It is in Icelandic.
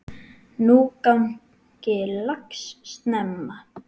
Nú gangi lax snemma.